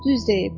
Düz deyib.